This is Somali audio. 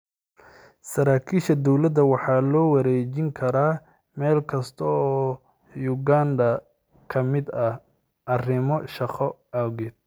Saraakiisha dowladda waxaa loo wareejin karaa meel kasta oo Uganda ka mid ah arrimo shaqo awgeed.